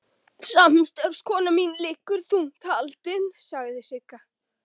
Samstarfskona mín liggur þungt haldin, sagði Sigga.